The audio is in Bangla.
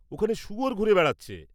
ওখানে শুয়োর ঘুরে বেড়াচ্ছে।